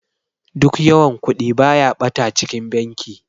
Duk yawan Kudi baya bata a cikin banki.